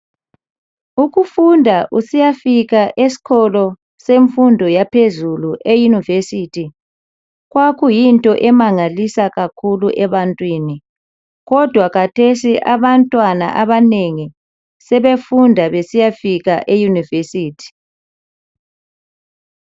Ukufunda usiyafika esikolo semfundo yaphezulu eyunivesithi kwakuyinto emangalisa kakhulu ebantwini kodwa khathesi abantwana abanengi sebefunda besiyafika eyunivesithi.